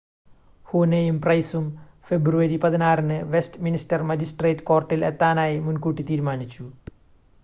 ഹൂനെയും പ്രൈസും ഫെബ്രുവരി 16ന് Westminster magistrate കോർട്ടിൽ എത്താനായി മുൻകൂട്ടി തീരുമാനിച്ചു